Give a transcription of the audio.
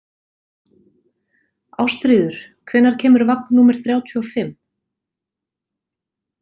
Ástríður, hvenær kemur vagn númer þrjátíu og fimm?